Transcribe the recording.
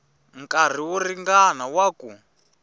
nkarhi wo ringana wa ku